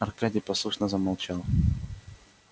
аркадий послушно замолчал